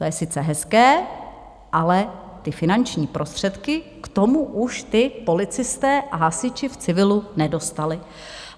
To je sice hezké, ale ty finanční prostředky k tomu už ti policisté a hasiči v civilu nedostali.